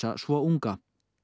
svo unga